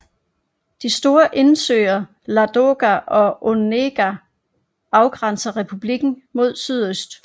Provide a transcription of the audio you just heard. De store indsøer Ladoga og Onega afgrænser republikken mod sydøst